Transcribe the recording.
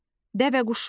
Dəvəquşu.